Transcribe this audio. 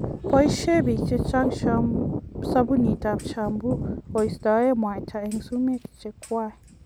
Boisien biik chechang' sobunit ab shampoo kostoen mwata en sumeek chwang'.